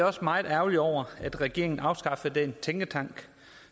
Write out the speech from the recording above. også meget ærgerlig over at regeringen afskaffede den tænketank